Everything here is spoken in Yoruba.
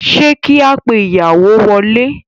Ṣé kí a pe ìyàwó wọlé?